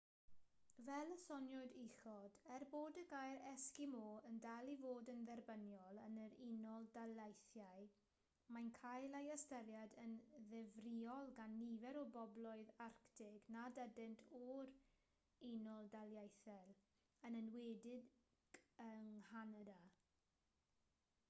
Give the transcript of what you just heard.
fel y soniwyd uchod er bod y gair esgimo yn dal i fod yn dderbyniol yn yr unol daleithiau mae'n cael ei ystyried yn ddifrïol gan nifer o bobloedd arctig nad ydynt o'r u.d yn enwedig yng nghanada